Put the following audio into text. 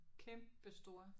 Kæmpestor